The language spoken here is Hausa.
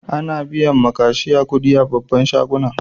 Ana biyan ma kashiya kuɗi a babban shagunan.